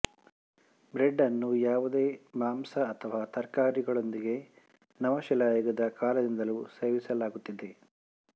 bread ಅನ್ನು ಯಾವುದೇ ಮಾಂಸ ಅಥವಾ ತರಕಾರಿಗಳೊಂದಿಗೆ ನವಶಿಲಾಯುಗದ ಕಾಲದಿಂದಲೂ ಸೇವಿಸಲಾಗುತ್ತಿದೆ